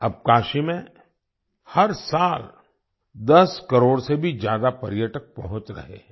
अब काशी में हर साल 10 करोड़ से भी ज्यादा पर्यटक पहुँच रहे हैं